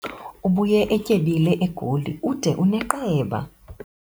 Ubuye etyebile eGoli ude uneqeba.